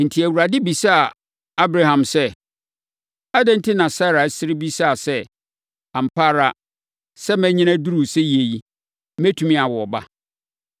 Enti, Awurade bisaa Abraham sɛ, “Adɛn enti na Sara sere bisaa sɛ, ‘Ampa ara sɛ manyini aduru seyie yi, mɛtumi awo ba?’